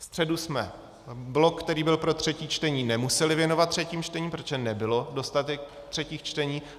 Ve středu jsme blok, který byl pro třetí čtení, nemuseli věnovat třetím čtením, protože nebyl dostatek třetích čtení.